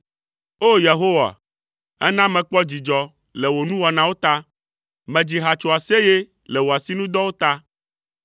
O! Yehowa, èna mekpɔ dzidzɔ le wò nuwɔnawo ta. Medzi ha tso aseye le wò asinudɔwo ta.